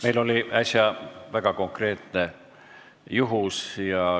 Meil oli äsja väga konkreetne juhtum.